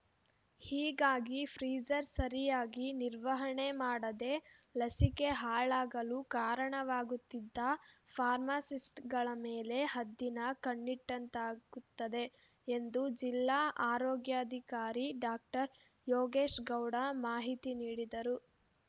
ಹೀಗಾಗಿ ಫ್ರೀಜರ್‌ ಸರಿಯಾಗಿ ನಿರ್ವಹಣೆ ಮಾಡದೆ ಲಸಿಕೆ ಹಾಳಾಗಲು ಕಾರಣವಾಗುತ್ತಿದ್ದ ಫಾರ್ಮಾಸಿಸ್ಟ್‌ಗಳ ಮೇಲೆ ಹದ್ದಿನ ಕಣ್ಣಿಟ್ಟಂತಾಗುತ್ತದೆ ಎಂದು ಜಿಲ್ಲಾ ಆರೋಗ್ಯಾಧಿಕಾರಿ ಡಾಕ್ಟರ್ ಯೋಗೇಶ್‌ಗೌಡ ಮಾಹಿತಿ ನೀಡಿದರು